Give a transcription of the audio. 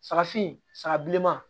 Sagafin saga bilenman